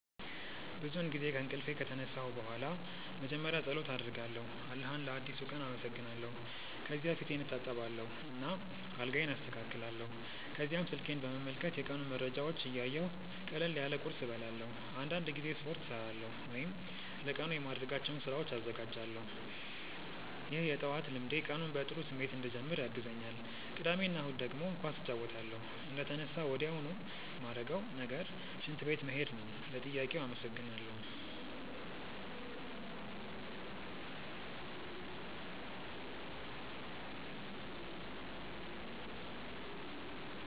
ብዙውን ጊዜ ከእንቅልፌ ከተነሳሁ በኋላ መጀመሪያ ፀሎት አደርጋለሁ አላህን ለአዲሱ ቀን አመሰግናለሁ። ከዚያ ፊቴን እታጠባለሁ እና አልጋዬን አስተካክላለሁ። ከዚያም ስልኬን በመመልከት የቀኑን መረጃዎች እያየሁ ቀለል ያለ ቁርስ እበላለሁ። አንዳንድ ጊዜ ስፖርት እሠራለሁ ወይም ለቀኑ የማደርጋቸውን ስራዎች እዘጋጃለሁ። ይህ የጠዋት ልምዴ ቀኑን በጥሩ ስሜት እንድጀምር ያግዘኛል። ቅዳሜ እና እሁድ ደግሞ ኳስ እጫወታለሁ። እንደተነሳሁ ወዲያውኑ ማረገው ነገር ሽንት ቤት መሄድ ነው። ለጥያቄው አመሰግናለው።